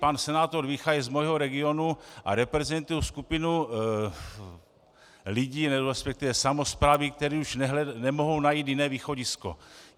Pan senátor Vícha je z mého regionu a reprezentuje skupinu lidí, respektive samosprávy, které už nemohou najít jiné východisko.